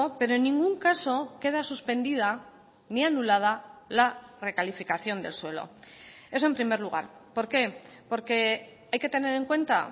pero en ningún caso queda suspendida ni anulada la recalificación del suelo eso en primer lugar por qué porque hay que tener en cuenta